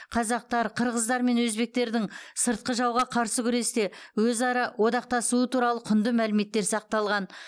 қазақтар қырғыздар мен өзбектердің сыртқы жауға қарсы күресте өзара одақтасуы туралы құнды мәліметтер сақталған